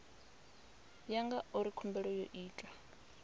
ya ngauri khumbelo yo itwa